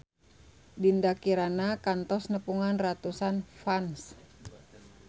Dinda Kirana kantos nepungan ratusan fans